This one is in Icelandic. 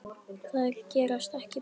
Þær gerast ekki betri.